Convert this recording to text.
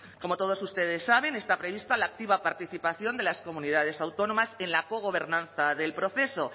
como todos ustedes saben está prevista la activa participación de las comunidades autónomas en la cogobernaba del proceso